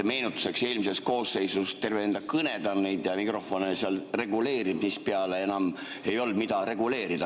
Meenutuseks: eelmises koosseisus terve enda kõne ta neid mikrofone seal reguleeris, mispeale enam ei olnud, mida reguleerida.